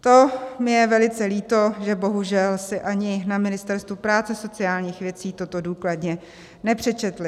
To mi je velice líto, že bohužel si ani na Ministerstvu práce a sociálních věcí toto důkladně nepřečetli.